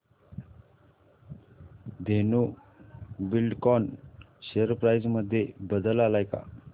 Dhenu Buildcon share price मध्ये बदल आलाय का